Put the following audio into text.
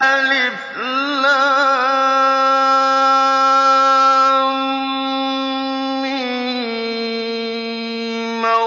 الم